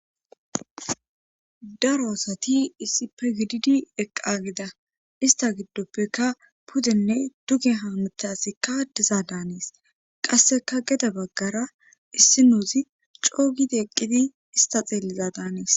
Daroosati issi pe gididi eqqageda ista giddoppeka puddenne duge haamutaasikkadiza daanees qasseka gede baggara issi nuuzi coogidi eqqidi ista xeelliza daanees